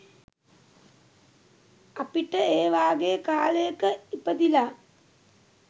අපිට ඒ වගේ කාලයක ඉපදිලා